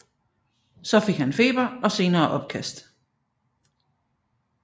Så fik han feber og senere opkast